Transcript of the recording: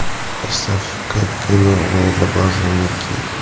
поставь ка кино голубоглазый микки